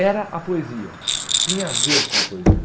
Era a poesia, tinha a ver com a poesia.